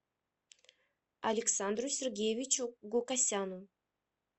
александру сергеевичу гукасяну